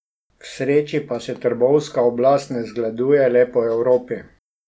K sreči pa se trbovska oblast ne zgleduje le po Evropi.